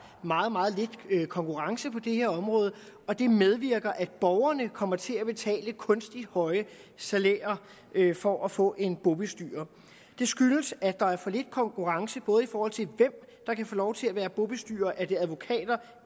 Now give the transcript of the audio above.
meget meget lidt konkurrence på det her område og det medvirker til at borgerne kommer til at betale kunstigt høje salærer for at få en bobestyrer det skyldes at der er for lidt konkurrence både i forhold til hvem der kan få lov til at være bobestyrer er det advokater